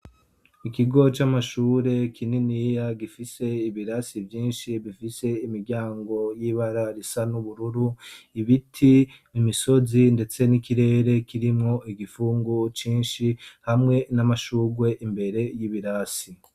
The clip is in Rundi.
Ikigo c'amashure kininiya gifise ibirasi vyinshi bifise imiryango y'ibara risa n'ubururu; Ibiti, imisozi, ndetse n'ikirere kirimwo igipfungu cinshi, hamwe n'amashurwe imbere y'ibirasi.